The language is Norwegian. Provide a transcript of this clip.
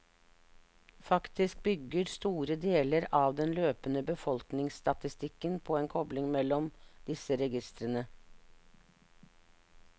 Faktisk bygger store deler av den løpende befolkningsstatistikken på en kobling mellom disse registrene.